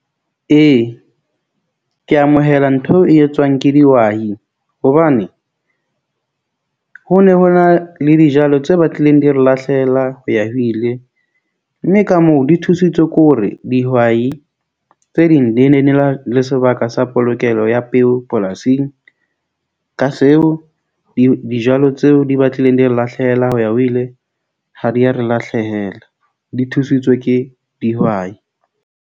Ee, ke amohela ntho eo e etswang ke dihwai hobane ho ne ho na le dijalo tse batlileng di re lahlehela ho ya ho ile. Mme ka moo di thusitswe ke hore dihwai tse ding di ne di na le sebaka sa polokelo ya peo polasing ka seo, dijalo tseo di batlileng di re lahlehela ho ya ho ile ha di ya re lahlehela. Di thusitswe ke dihwai.